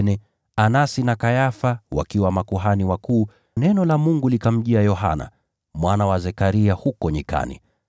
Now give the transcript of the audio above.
nao Anasi na Kayafa wakiwa makuhani wakuu, neno la Mungu likamjia Yohana, mwana wa Zekaria huko jangwani.